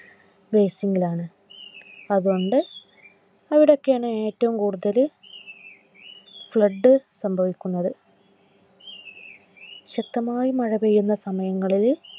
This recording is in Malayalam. അവിടൊക്കെ ആണ് ഏറ്റവും കൂടുതൽ Flood സംഭവിക്കുന്നത്. ശക്തമായി മഴപെയ്യുന്ന സമയങ്ങളിൽ